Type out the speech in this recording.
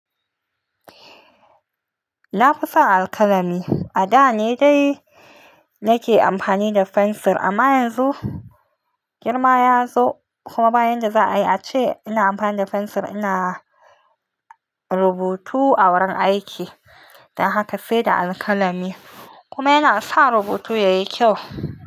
Na fi sa alkalami. A da ne dai nake amfani da fensir, amma yanzu girma ya zo kuma ba yadda za a yi, ace ina amfani da fensir ina rubutu a wurin aiki. Dan haka sai da alkalami kuma yana sa rubutu yayi kyau.